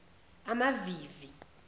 amavivi